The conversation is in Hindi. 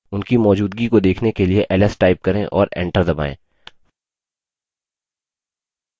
उनकी मौजूदगी को देखने के लिए ls type करें और enter दबायें